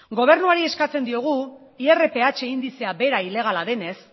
gobernuari eskatzen diogu irph indizea bera ilegala denez